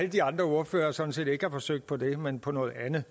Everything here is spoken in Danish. de andre ordførere sådan set ikke har forsøgt på det men på noget andet